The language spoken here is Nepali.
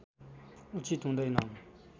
उचित हुँदैन